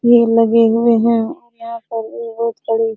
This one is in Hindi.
ये लगे हुए हैं और यहाँ पर भी बहुत बड़ी --